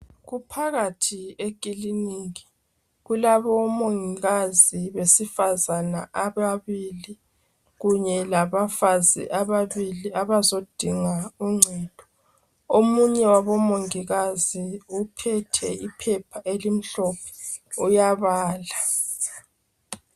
Kuphakathi eklilinika kulabo mongikazi besifazana ababili kunye labafazi ababili abazodinga uncedo. Omunye wabomongikazi uphethe iphepha elimhlophe uyabala.